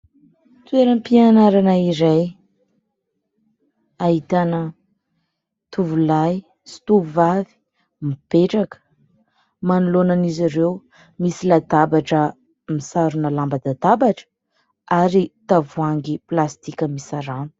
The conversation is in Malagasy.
Toeram-pianrana iray, ahitana tovolahy sy tovovavy mipetraka. Manoloana an'izy ireo misy latabatra misarona lamban-databatra ary misy tavoahangy plastika misy rano.